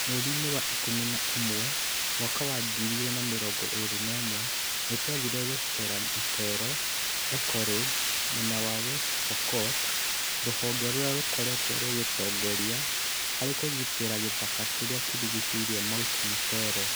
Mweri-inĩ wa ikũmi na ũmwe 2021, nĩ twathire gũceera Mtelo Eco-lodge mwena wa West Pokot, rũhonge rũrĩa rũkoretwo rũgĩtongoria harĩ kũgitĩra gĩthaka kĩrĩa kĩrigiicĩirie Mt Mtelo.